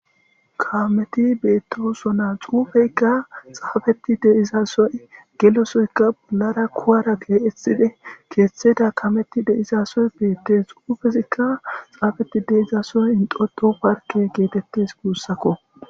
kameti beettosona xuufeykka xaafeti de'izasoy gelosoyka bollara kuwara geethide keeththeda kameti deizasoy beettes xuufezikka xaafeti deizasoy intoto parke geetettes guussakko